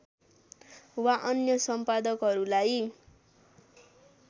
वा अन्य सम्पादकहरूलाई